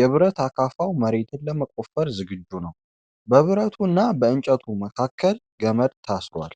የብረት አካፋው መሬት ለመቆፈር ዝግጁ ነው። በብረቱና በእንጨቱ መካከል ገመድ ታስሯል።